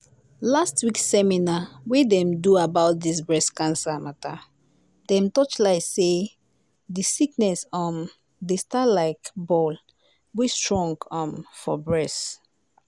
last week seminar wey dem do about dis breast cancer matter dem torchlight say di sickness um dey start like ball wey strong um for bress.